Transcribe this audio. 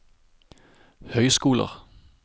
høyskoler